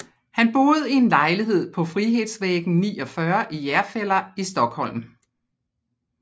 Han boede i en lejlighed på Frihetsvägen 49 i Järfälla i Stockholm